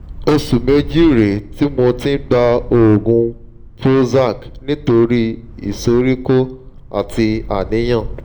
oṣù méjì rèé tí mo ti ń gba oògùn prozac nítorí ìsoríkọ́ àti àníyàn